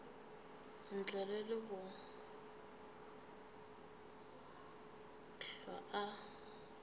ntle le go hlwa a